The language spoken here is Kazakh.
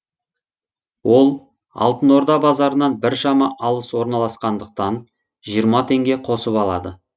ол алтын орда базарынан біршама алыс орналасқандықтан жиырма теңге қосып алады